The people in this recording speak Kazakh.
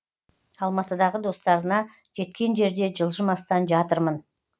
алматыдағы достарына жеткен жерде жылжымастан жатырмын